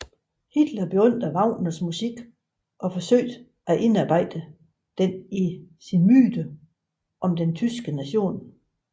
Hitler beundrede Wagners musik og forsøgte at indarbejde den i sin myte om den tyske nation